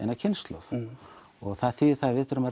það þýðir að við þurfum